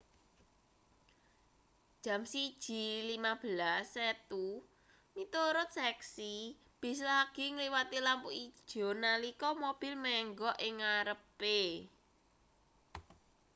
jam 1:15 setu miturut seksi bis lagi ngliwati lampu ijo nalika mobil menggok ing ngarepe